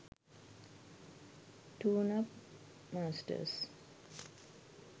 tuneup masters